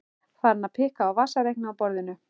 Farin að pikka á vasareikni á borðinu.